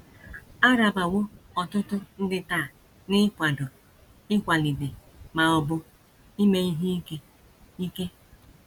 A rabawo ọtụtụ ndị taa n’ịkwado, ịkwalite, ma ọ bụ ime ihe ike. ike.